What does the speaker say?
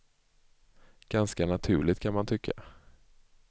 Ganska naturligt, kan man tycka.